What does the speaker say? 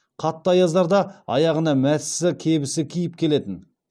қатты аяздарда аяғына мәсісі кебісін киіп келетін